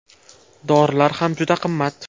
Dorilari ham juda qimmat.